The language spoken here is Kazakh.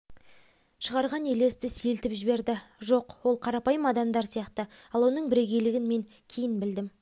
шығарған елесті сейілтіп жіберді жоқ ол қарапайым адамдар сияқты ал оның бірегейлігін мен кейін білдім